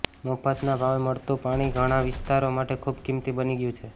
મફતના ભાવે મળતું પાણી ઘણાં વિસ્તારો માટે ખૂબ કિંમતી બની ગયું છે